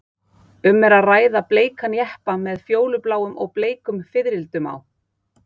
Um er að ræða bleikan jeppa með fjólubláum og bleikum fiðrildum á.